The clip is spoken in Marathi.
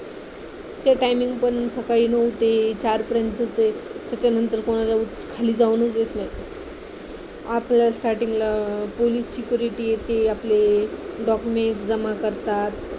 तिथे timing पण सकाळी नऊ ते चार पर्यंतच आहे त्याच्या नंतर खाली जाऊनच देत नाहीत आतल्या site ला पोलीस security येते आपले documents जमा करतात